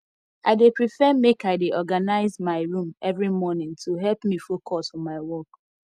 i dey prefer make i dey organize my room every morning to help me focus for my work